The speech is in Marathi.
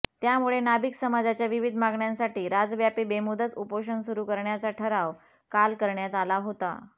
त्यामुळे नाभिक समाजाच्या विविध मागण्यांसाठी राज्यव्यापी बेमुदच उपोषण सुरु करण्याचा ठराव काल करण्यात आला होता